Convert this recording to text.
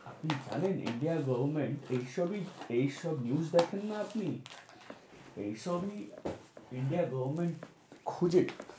আপনি জানেন India এর government এইসবই এইসব news দেখেন না আপনি? এইসব নিয়ে India এ government খুঁজে।